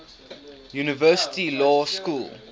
university law school